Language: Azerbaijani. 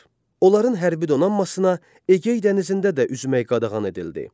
Onların hərbi donanmasına Egey dənizində də üzmək qadağan edildi.